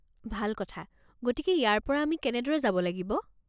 ভাল কথা। গতিকে ইয়াৰ পৰা আমি কেনেদৰে যাব লাগিব?